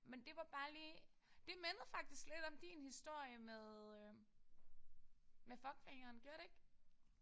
Men det var bare lige det mindede faktisk lidt om din historie med øh med fuckfingeren. Gjorde det ik?